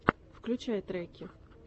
включай треки